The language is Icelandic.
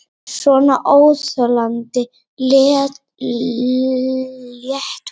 Svona óþolandi léttúð!